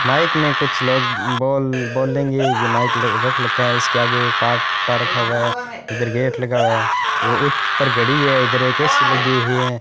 Mic में कुछ लोग बोल बोलेंगे ये माइक रख लखा है इसके आगे पारटा रखा हुआ है इधर गेट लगा हुआ है वो उस पर घड़ी है इधर एक लगी हुई है।